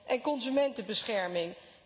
en consumentenbescherming.